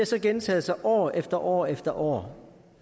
så gentaget sig år efter år efter år